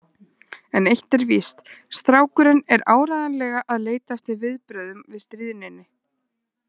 En eitt er víst: Strákurinn er áreiðanlega að leita eftir viðbrögðum við stríðninni.